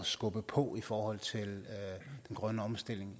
skubbe på i forhold til den grønne omstilling